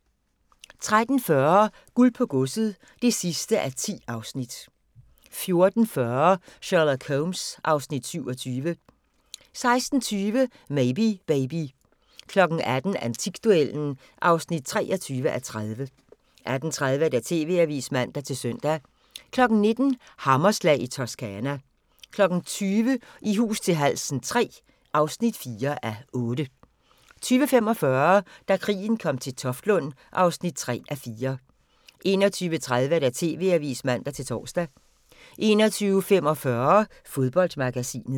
13:40: Guld på godset (10:10) 14:40: Sherlock Holmes (Afs. 27) 16:20: Maybe Baby 18:00: Antikduellen (23:30) 18:30: TV-avisen (man-søn) 19:00: Hammerslag i Toscana 20:00: I hus til halsen III (4:8) 20:45: Da krigen kom til Toftlund (3:4) 21:30: TV-avisen (man-tor) 21:45: Fodboldmagasinet